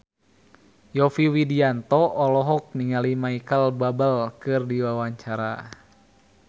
Yovie Widianto olohok ningali Micheal Bubble keur diwawancara